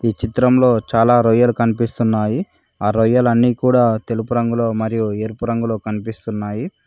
ఈ చిత్రంలో చాలా రొయ్యలు కనిపిస్తున్నాయి ఆ రొయ్యలు అన్నీ కూడా తెలుపు రంగులో మరియు ఎరుపు రంగులో కనిపిస్తున్నాయి